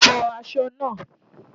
Fọ aṣọ náà!